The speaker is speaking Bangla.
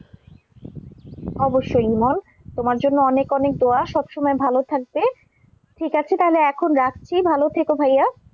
অবশ্যই ইমন তোমার জন্য অনেক অনেক দোয়া, সব সময় ভাল থাকবে। ঠিক আছে তাহলে এখন রাখছি, ভাল থেকো ভাইয়া।